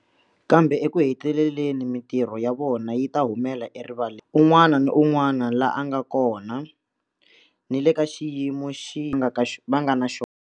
Kambe ekuheteleleni mitirho ya vona yi ta humela erivaleni, un'wana ni un'wana laha a nga kona, ni le ka xiyimo xihi va nga na xona.